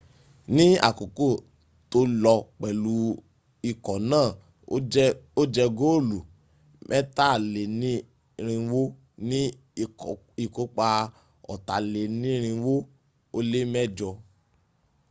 ní àkókò tó lò pẹ̀lú ikọ̀ náà ó jẹ góòlù mẹ́tàlénírinwó ní ìkópa ọ̀tàlénírinwó ó lé mẹjọ